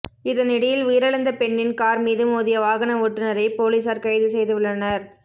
இதனிடையில் உயிரிழந்த பெண்ணின் கார் மீது மோதிய வாகன ஓட்டுனரை பொலிஸார் கைது செய்து உள்ளனர்